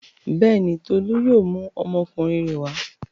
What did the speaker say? Bẹ́ẹ̀ni, Tolú yóò mú ọmọkùnrin rẹ̀ wá.